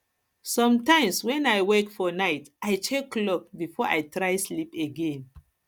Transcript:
sometimes when i wake for night i check clock before i try sleep again